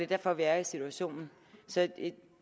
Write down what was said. derfor vi er i situationen så